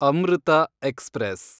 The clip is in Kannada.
ಅಮೃತ ಎಕ್ಸ್‌ಪ್ರೆಸ್